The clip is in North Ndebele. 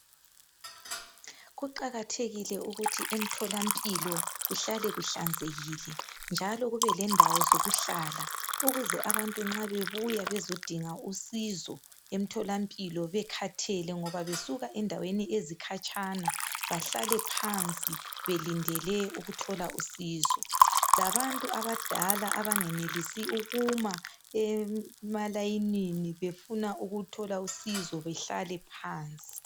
Kuqakathekile ukuthi emtholampilo kuhlale kuhlanzekile njalo kube lendawo zokuhlala ukuze abantu nxa bebuya bezodinga usizo emtholampilo bekhathele ngoba besuka endaweni ezikhatshana bahlale phansi belindele ukuthola usizo , labantu abadala abangenelisi ukuma emalayinini befuna ukuthola usizo bahlale phansi